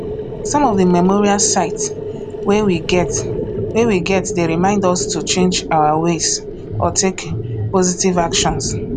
some of di memorial sites wey we get wey we get dey remind us to change our ways or take positive actions